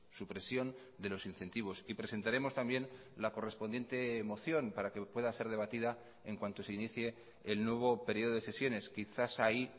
supresión de los incentivos y presentaremos también la correspondiente moción para que pueda ser debatida en cuanto se inicie el nuevo periodo de sesiones quizás ahí